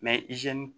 Mɛ izini